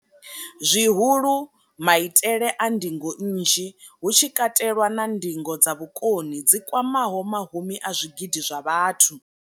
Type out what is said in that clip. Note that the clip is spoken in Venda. zwihulu, maitele a ndingo nnzhi, hu tshi katelwa na ndingo dza vhukoni dzi kwamaho mahumi a zwigidi zwa vhathu.